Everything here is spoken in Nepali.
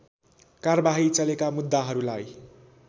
कारबाही चलेका मुद्दाहरूलाई